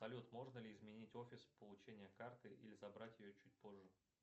салют можно ли изменить офис получения карты или забрать ее чуть позже